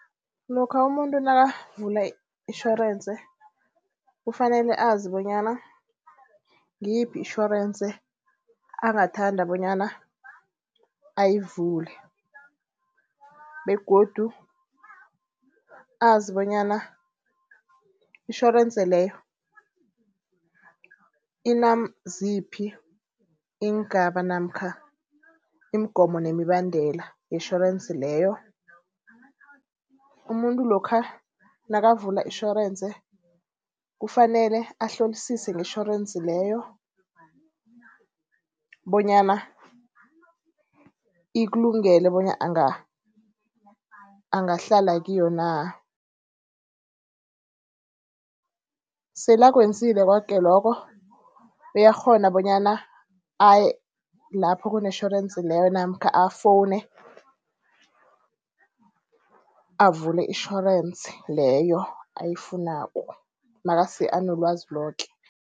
Lokha umuntu nakavula itjhorense kufanele azi bonyana ngiyiphi itjhorense angathanda bonyana ayivule begodu azi bonyana itjhorense leyo inaziphi iingaba namkha imigomo nemibandela yetjhorense leyo. Umuntu lokha nakavula itjhorense kufanele ahlolisise ngetjhorensi leyo bonyana ikulungele bona angahlala kiyo na. Sele akwenzile koke lokho uyakghona bonyana aye lapho kunetjhorensi leyo namkha afowune avule itjhorense leyo ayifunako nasele anelwazi loke.